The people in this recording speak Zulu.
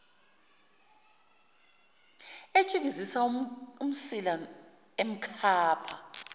etshikizisa umsila emkhapha